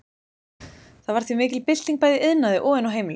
Það varð því mikil bylting bæði í iðnaði og inni á heimilum.